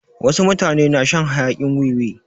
Wasu mutane na shan hayakin wiwi.